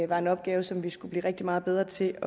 var en opgave som vi skulle blive rigtig meget bedre til